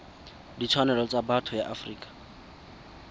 ditshwanelo tsa botho ya afrika